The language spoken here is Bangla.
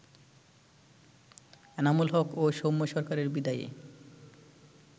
এনামুল হক ও সৌম্য সরকারের বিদায়ে